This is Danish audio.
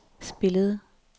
spillede